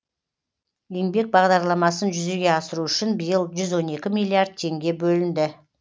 еңбек бағдарламасын жүзеге асыру үшін биыл жүз он екі миллиард теңге бөлінді